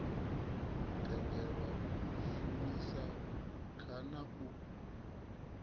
tendelwa u shumisa kana u